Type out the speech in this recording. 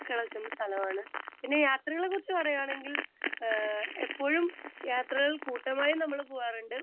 speaker 2 കിടക്കുന്ന ഒരു സ്ഥലമാണ് പിന്നെ യാത്രകളേ കുറിച്ച് പറയുവാണെങ്കിൽ എപ്പോഴും യാത്രകൾ കൂട്ടമായി നമ്മള് പോകാറുണ്ട്